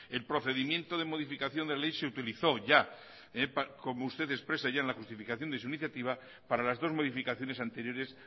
el procedimiento de modificación de ley se utilizó ya como usted expresa en la justificación de su iniciativa para las dos modificaciones anteriores